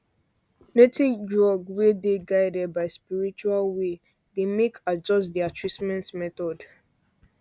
native drug wey dey guided by spiritual way dey dey make adjust their treatment method